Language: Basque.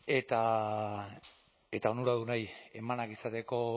eta onuradunei eman ahal izateko